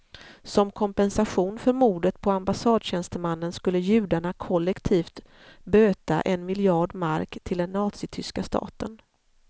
Som kompensation för mordet på ambassadtjänstemannen skulle judarna kollektivt böta en miljard mark till den nazityska staten.